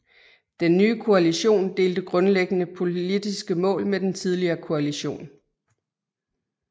Den nye koalition delte grundlæggende politiske mål med den tidligere koalition